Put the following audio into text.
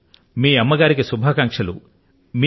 మీ అమ్మ గారికి నమస్సులు మరియు అనేకానేక శుభాకాంక్షలూను